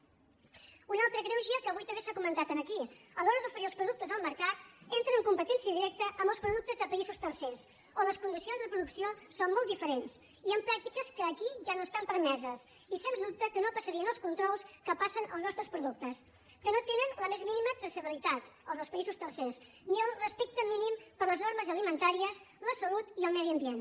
un altre greuge que avui també s’ha comentat aquí a l’hora d’oferir els productes al mercat entren en competència directa amb els productes de països tercers on les condicions de producció són molt diferents i amb pràctiques que aquí ja no estan permeses i sens dubte que no passarien els controls que passen els nostres productes que no tenen la més mínima traçabilitat els dels països tercers ni el respecte mínim per les normes alimentàries la salut i el medi ambient